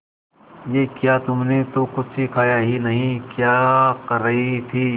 ये क्या तुमने तो कुछ खाया ही नहीं क्या कर रही थी